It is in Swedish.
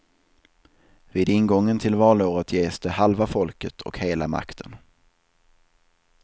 Vid ingången till valåret ges de halva folket och hela makten.